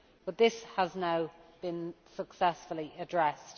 But this has now been successfully addressed.